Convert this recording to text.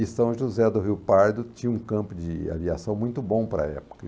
E São José do Rio Pardo tinha um campo de aviação muito bom para a época.